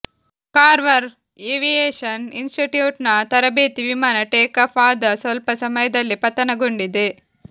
carver aviation institute ನ ತರಬೇತಿ ವಿಮಾನ ಟೇಕಾಫ್ ಆದ ಸ್ವಲ್ಪ ಸಮಯದಲ್ಲೇ ಪತನಗೊಂಡಿದೆ